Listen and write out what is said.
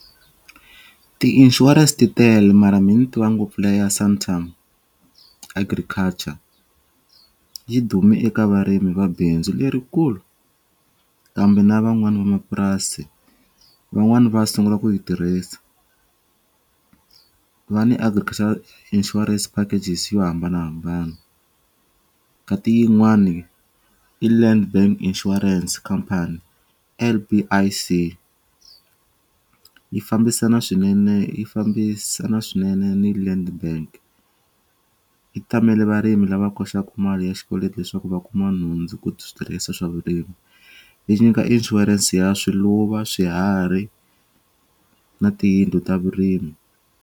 Ti-insurance titele mara me ni tiva ngopfu liya Santam Agriculture, yi dume eka varimi vabindzu lerikulu kambe na vamapurasi van'wani va sungula ku yi tirhisa ku va ni Agriculture Insurance packages yo hambanahambana. Ka ti yin'wani i Land Bank Insurance Company, L_P_I_C yi fambisana swinene yi fambisana swinene ni Land Bank. Yi tamele varimi lava koxakU mali ya xikweleti leswaku va kuma nhundzu ku switirhisiwa swa vurimi yi nyika inshurense ya swiluva swiharhi na tiyindlu ta vurimi.